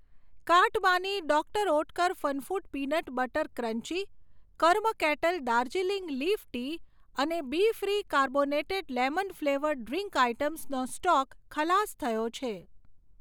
કાર્ટમાંની doctor Oetker Funfood peanut butter crunchy, Karma Kettle Darjeeling leaf tea અને Bfree carbonated lemon flavoured drink આઇટમ્સનો stock ખલાસ થયો છે.